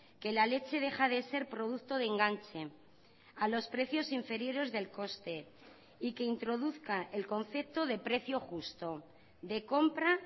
que la leche deja de ser producto de enganche a los precios inferiores del coste y que introduzca el concepto de precio justo de compra